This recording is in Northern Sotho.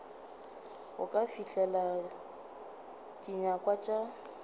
go ka fihlelela dinyakwa tša